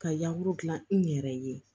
Ka yamuru dilan n yɛrɛ ye